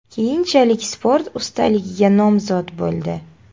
Keyinchalik sport ustaligiga nomzod bo‘ldi.